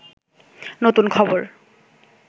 নতুন খবর